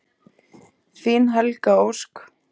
Þín Helga Ósk.